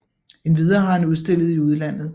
Endvidere har han udstillet i udlandet